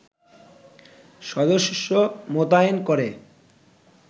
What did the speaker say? সদস্য মোতায়েন করে